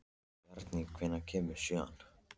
Bjarný, hvenær kemur sjöan?